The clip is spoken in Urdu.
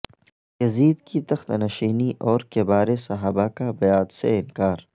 یزید کی تخت نشینی اور کبار صحابہ کا بیعت سے انکار